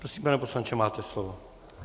Prosím, pane poslanče, máte slovo.